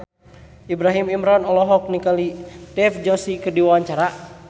Ibrahim Imran olohok ningali Dev Joshi keur diwawancara